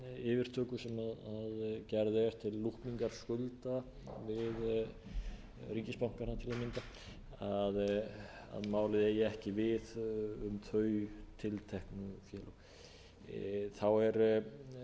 yfirtöku sem gerð er til lúkningar skulda við ríkisbankana til að mynda að málið eigi ekki við um þau tilteknu félög þá er